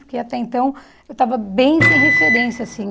Porque até então eu estava bem sem referência, assim...